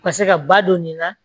U ka se ka ba don nin na